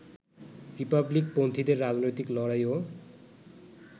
রিপাবলিকপন্থীদের রাজনৈতিক লড়াইও